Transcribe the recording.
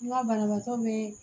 N ka banabaatɔ be